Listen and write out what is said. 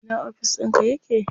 A ina ofis ɗinka yake?